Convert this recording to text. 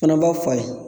Fana b'a fa ye